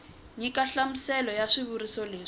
nyika nhlamuselo ya xivuriso lexi